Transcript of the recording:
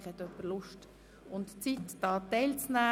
Vielleicht hat jemand Lust und Zeit, teilzunehmen.